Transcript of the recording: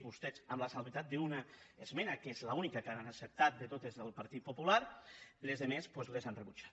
vostès amb l’excepció d’una esmena que és l’única que han acceptat de totes les del partit popular la res·ta doncs les han rebutjat